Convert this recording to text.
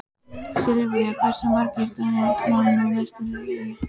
Silvía, hversu margir dagar fram að næsta fríi?